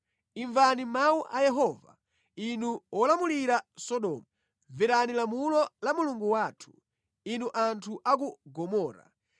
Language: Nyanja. Imvani mawu a Yehova, inu olamulira Sodomu; mverani lamulo la Mulungu wathu, inu anthu a ku Gomora!